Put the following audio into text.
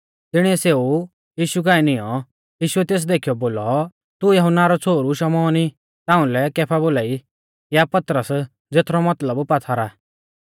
तिणिऐ सेऊ यीशु काऐ नियौं यीशुऐ तेस देखीयौ बोलौ तू यहुन्ना रौ छ़ोहरु शमौन ई ताउंलै कैफा बोलाई या पतरस ज़ेथरौ मतलब पात्थर आ